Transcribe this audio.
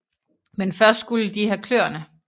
Men først skulle de have kløerne